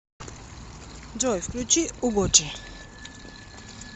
джой включи угочи